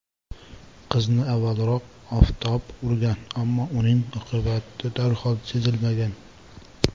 Qizni avvalroq oftob urgan, ammo uning oqibati darhol sezilmagan.